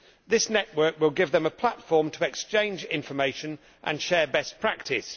This network will give them a platform to exchange information and share best practice.